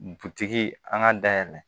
Dutigi an ka da yɛlɛ